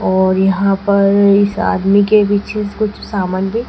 और यहां पर इस आदमी के पीछे कुछ सामान भी--